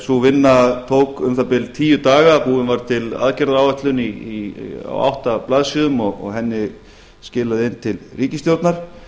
sú vinna tók um það bil tíu daga búin var til aðgerðaáætlun á átta blaðsíðum og henni skilað inn til ríkisstjórnar